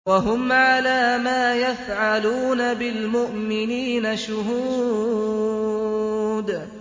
وَهُمْ عَلَىٰ مَا يَفْعَلُونَ بِالْمُؤْمِنِينَ شُهُودٌ